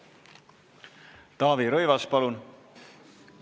Taavi Rõivas, palun!